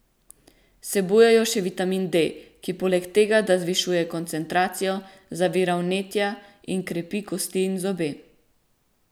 Vsebujejo še vitamin D, ki poleg tega, da zvišuje koncentracijo, zavira vnetja in krepi kosti in zobe.